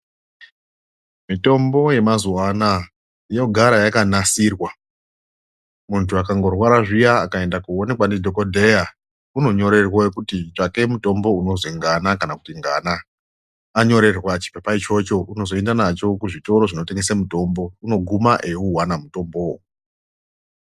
Mitombo yemazuwa anaya yogara yakanasirwa muntu akangorwara zviya akaenda kuonekwa ndidhokodheya unonyorerwe kuti tsvake mutombo unozwi ngana kana kuti ngana anyorerwa chipepa ichocho unozoenda nacho kuzvitoro zvinotengesa mutombo unoguma eiuwana mutombowowo.